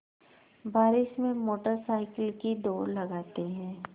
बारिश में motorcycle की दौड़ लगाते हैं